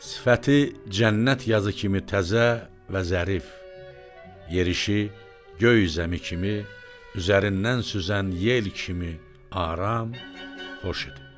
Sifəti cənnət yazı kimi təzə və zərif, yerişi göy zəmi kimi, üzərindən süzən yel kimi, aram, xoş idi.